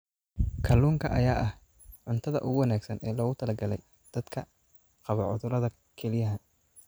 Kalluunka ayaa ah cuntada ugu wanaagsan ee loogu talagalay dadka qaba cudurrada kelyaha.